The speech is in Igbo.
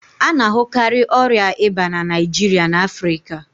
A na-ahụkarị ọrịa ìbá na Naịjirịa na Afrịka